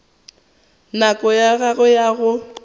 nako ya gagwe ya go